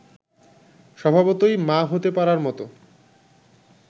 স্বভাবতই মা হতে পারার মতো